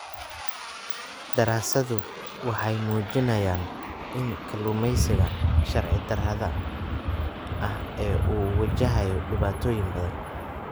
Daraasaduhu waxay muujinayaan in kalluumeysiga sharci darrada ah uu wajahayo dhibaatooyin badan.